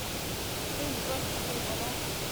джой сбросить видеозвонок